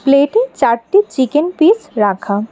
প্লেটে চারটি chicken piece রাখা।